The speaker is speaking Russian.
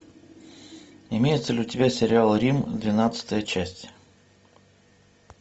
имеется ли у тебя сериал рим двенадцатая часть